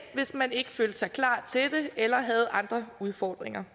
hvis man ikke følte sig klar til det eller havde andre udfordringer